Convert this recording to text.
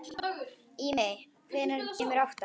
Ími, hvenær kemur áttan?